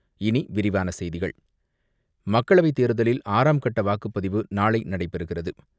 இனி விரிவான செய்திகள் மக்களவைத் தேர்தலில் ஆறாம் கட்ட வாக்குப்பதிவு நாளை நடைபெறுகிறது.